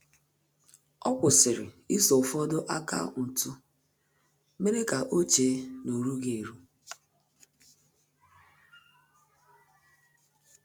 Ọ́ kwụ́sị̀rị̀ iso ụ́fọ́dụ́ akaụntụ mèrè kà ọ́ chée na ọ́ rúghị́ érú.